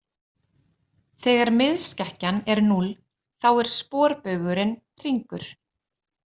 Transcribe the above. Þegar miðskekkjan er núll þá er sporbaugurinn hringur.